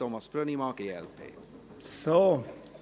Thomas Brönnimann hat für die glp das Wort.